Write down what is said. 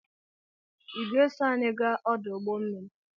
I ga-eso anyị gaa ọdụ ụgbọmmiri?